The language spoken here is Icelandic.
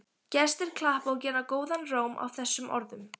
Gestir klappa og gera góðan róm að þessum orðum.